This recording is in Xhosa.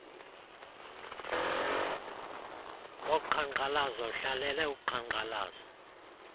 woqhankqalazo uhlalele uqhankqalazo